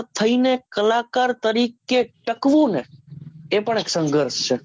થઈને કલાકાર તરીકે ટકવું ને એ પણ એક સંગર્શ છે